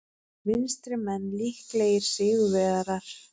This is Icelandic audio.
Vinstrimenn líklegir sigurvegarar